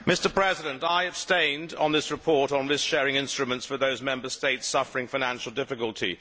Mr President, I abstained on this report on risk sharing instruments for those Member States suffering financial difficulty.